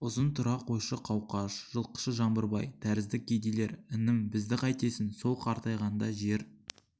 ұзын тұра қойшы қауқаш жылқышы жаңбырбай тәрізді кедейлер інім бізді қайтесің сол қартайғанда жер